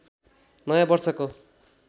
नयाँ वर्षको